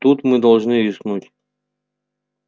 тут мы должны рискнуть